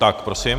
Tak prosím.